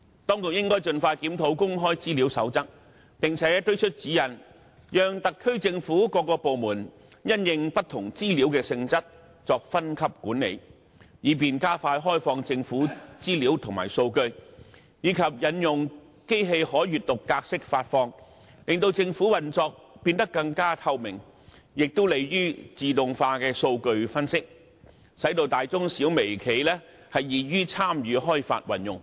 當局應該盡快檢討《公開資料守則》，並且推出指引，讓特區政府各個部門因應不同資料的性質，作分級管理，以便加快開放政府資料和數據，以及引用機器可閱讀格式發放，令政府運作變得更透明，亦有利於自動化的數據分析，使大中小微企易於參與開發運用。